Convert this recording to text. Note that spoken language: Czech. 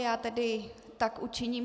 Já tedy tak učiním.